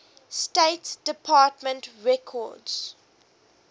state department records